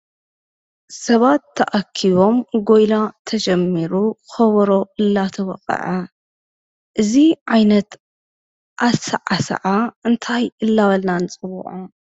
ሰባት ተኣኪቦም ጎይላ ተጀሚሩ ከብሮ እናተወቅዐ እዚ ዓይነት ኣሰዓስዓ ታይ እናበልና ንፅውዖ?